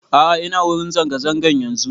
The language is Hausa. A'a ina wurin zanga zanga yanzun